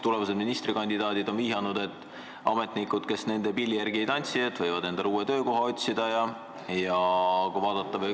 Ministrikandidaadid on vihjanud, et ametnikud, kes nende pilli järgi ei tantsi, võivad endale uue töökoha otsida.